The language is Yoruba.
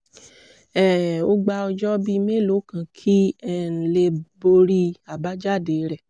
um ó gba ọjọ́ bíi mélòó kan kí um n lè borí àbájáde rẹ̀